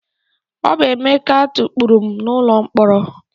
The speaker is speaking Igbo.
Ọ bụ Emeka tukpuru m n'ụlọ mkpọrọ.